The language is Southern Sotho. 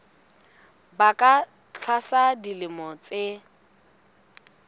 ba ka tlasa dilemo tse